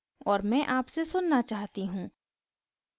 और मैं आपसे सुन्ना चाहती हूँ